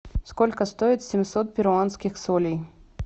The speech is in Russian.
сколько стоит семьсот перуанских солей